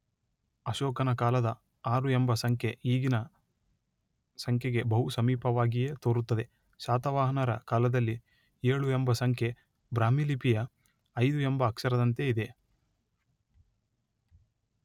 ಅಶೋಕನ ಕಾಲದ ಆರು ಎಂಬ ಸಂಖ್ಯೆ ಈಗಿನ ಸಂಖ್ಯೆಗೆ ಬಹು ಸಮೀಪವಾಗಿಯೇ ತೋರುತ್ತದೆ.ಶಾತವಾಹನರ ಕಾಲದಲ್ಲಿ ಏಳು ಎಂಬ ಸಂಖ್ಯೆ ಬ್ರಾಹ್ಮೀಲಿಪಿಯ ೫ ಎಂಬ ಅಕ್ಷರದಂತೆ ಇದೆ.